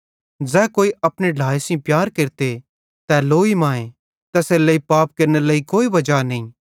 ज़ै कोई अपने ढ्लाए सेइं प्यार केरते तै लोई मांए तैसेरेलेइ पाप केरनेरे लेइ कोई वजा नईं